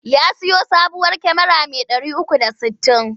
Ya siyo sabuwar kyamara mai 360.